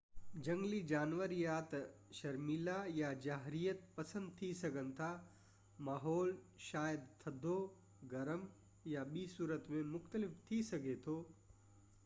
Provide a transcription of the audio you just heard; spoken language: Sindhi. جهنگلي جانور يا ته شرميلا يا جارحيت پسند ٿي سگهن ٿا ماحول شايد ٿڌو گرم يا ٻي صورت ۾ مختلف ٿي سگهي ٿو